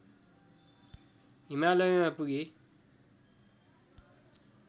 हिमालयमा पुगे